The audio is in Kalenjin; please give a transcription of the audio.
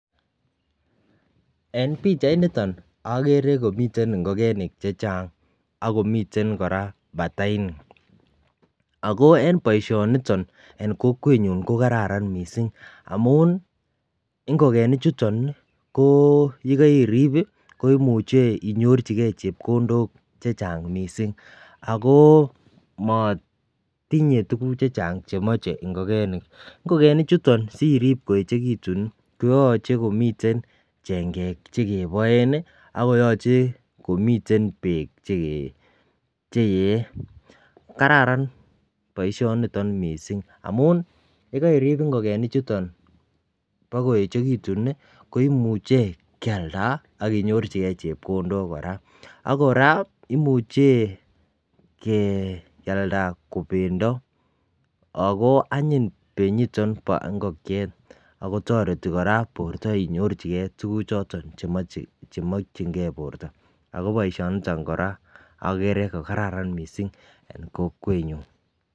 En pichainiton okere komiten ingokenik che Chang akomiten Koraa batainik ako en boishoniton en kokwenyun ko kararan missing amun ingokenik chuton nii ko yekoiribi koimuche inyorchigee chepkondok chechang missing ako motinyee tukuk chechang chemoche ingokenik. Ingokenik chuton sirib koyechekitun koyoche komiten Chengek chekeboen nii akomiten beek che yee. Kararan boishoniton missing amun yekoiribi ingokenik chuton bokoyechekitun nii ko imuche Kialda ak inyorchigee chepkondok Koraa ak Koraa imuche Kialda ko pendo ako anyiny penyiton bo ingokiet ako toreti koraa borto inyorchigee tukuk choton chemochi chemokingee borto. Ako boishoniton Koraa okere ko kararan missing en kokwenyun.